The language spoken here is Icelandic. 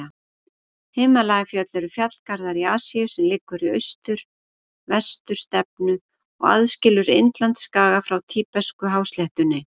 Himalajafjöll eru fjallgarður í Asíu sem liggur í austur-vestur stefnu og aðskilur Indlandsskaga frá tíbetsku-hásléttunni.